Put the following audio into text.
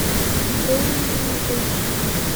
бемби эйч ди